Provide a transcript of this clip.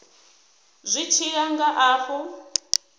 zwi tshi ya nga afho